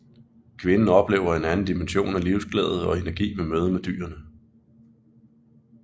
Kvinden oplever en anden dimension af livsglæde og energi ved mødet med dyrene